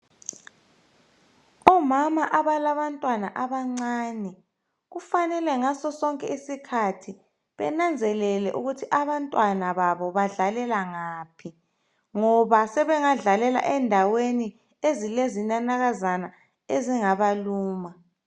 Omama abalabantwana abancane kufanele ngaso sonke isikhathi benanzelele ukuthi abantwana babo badlalela ngaphi ngoba sebengadlalela endaweni ezilezinanakazana ezingabaluma.